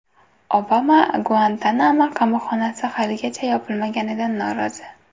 Obama Guantanamo qamoqxonasi haligacha yopilmaganidan norozi.